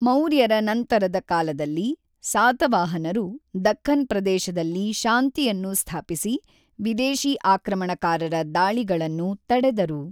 ಮೌರ್ಯರ ನಂತರದ ಕಾಲದಲ್ಲಿ, ಸಾತವಾಹನರು ದಖ್ಖನ್ ಪ್ರದೇಶದಲ್ಲಿ ಶಾಂತಿಯನ್ನು ಸ್ಥಾಪಿಸಿ‌, ವಿದೇಶಿ ಆಕ್ರಮಣಕಾರರ ದಾಳಿಗಳನ್ನು ತಡೆದರು.